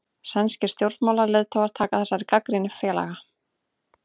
Sænskir stjórnmálaleiðtogar taka þessari gagnrýni fálega